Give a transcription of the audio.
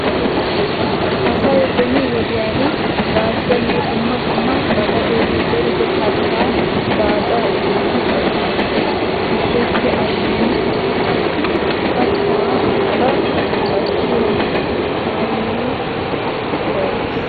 Asay beni wodiyan gaashiyaanne dumma dumma ba gaden zerido kattaa baaccaa ekkidi cakkoosona. Gidoppe attin ha'i qassi kataa baw cakkiyaa kaamee biittaa yis.